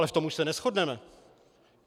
Ale v tom už se neshodneme.